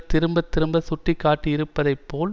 திரும்ப திரும்ப சுட்டி காட்டியிருப்பதை போல்